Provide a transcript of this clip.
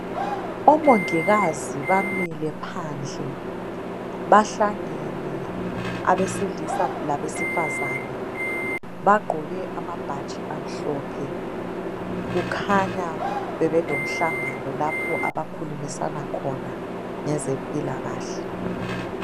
Omongikazi bamile phandle .Bahlangene abesilisa labesifazane, bagqoke amabhatshi amhlophe. Kukhanya bebelomhlangano abakhulumisana khona ngezempilakahle.